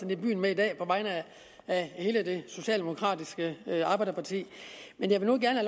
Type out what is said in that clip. lidt vild med i dag på vegne af hele det socialdemokratiske arbejderparti jeg vil nu gerne